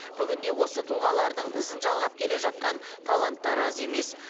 бүгінде осы тұлғалардың ізің жалғап келе жатқан таланттар аз емес